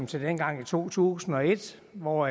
til dengang i to tusind og et hvor